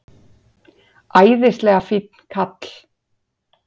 Æðislega fínn kall.